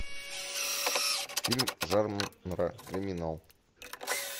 фильм жанра криминал